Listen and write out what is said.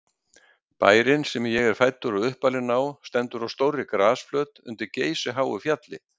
Bærinn, sem ég er fæddur og uppalinn á, stendur á stórri grasflöt undir geysiháu fjalli.